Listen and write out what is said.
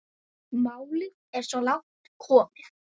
Málið er svo langt komið.